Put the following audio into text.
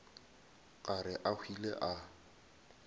ka re a hwile a